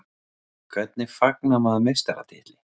Hvernig fagnar maður meistaratitli?